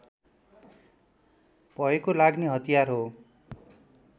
भएको लाग्ने हतियार हो